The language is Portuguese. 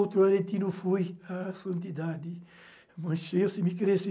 Outro aretino fui, a santidade Manchês se me cresce,